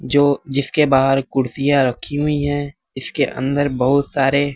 जो जिसके बाहर कुर्सियां रखी हुई है इसके अंदर बहुत सारे--